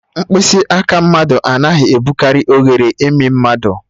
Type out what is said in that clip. Mkpịsị aka mmadụ anaghị ebukari oghere imi mmadụ